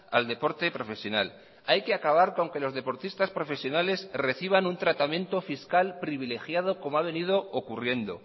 al deporte profesional hay que acabar con que los deportistas profesionales reciban un tratamiento fiscal privilegiado como ha venido ocurriendo